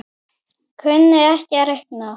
Kunni ekki að reikna.